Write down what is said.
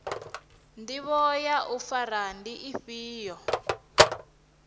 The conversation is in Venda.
ndivho ya u fara ndi ifhio